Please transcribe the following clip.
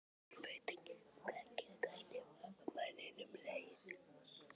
Ég veit ekki hvernig manninum leið.